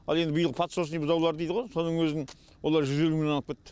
ал енді биыл подсрочный бұзаулар дейді ғо соның өзін олар жүз елу мыңнан алып кетті